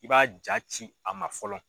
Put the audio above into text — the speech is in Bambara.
I b'a jaa ci a ma fɔlɔ.